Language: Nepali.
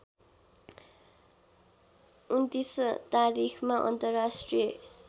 २९ तारिखमा अन्तर्राष्ट्रिय